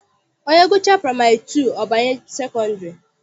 Onye gụchaa praịmarị tutu ọ banye sekọndịrị.